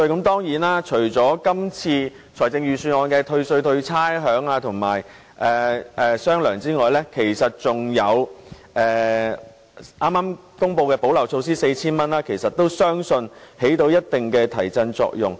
當然，除了今次財政預算案公布的退稅、退差餉及"雙糧"外，其實還有剛公布派發 4,000 元的補漏措施，相信也能發揮一定提振作用。